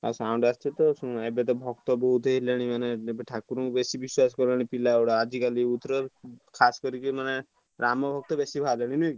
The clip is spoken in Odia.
ଆଉ sound ଆସିବ ଆଉ ଶୁଣ ଏବେ ତ ଭ~ କ୍ତ~ ବହୁତ ହେଲେଣି ଏବେ ମାନେ ଠାକୁର ଙ୍କୁ ବେଶୀ ବିଶ୍ବାସ କରିବେନି ପିଲା ଗୁଡା ଆଜିକାଲି youth ଖାସ କରିକି ମାନେ ରାମ ଭକ୍ତ ବେଶୀ ବାହାରିବେ ବୁଝି ପାରୁଛ କି?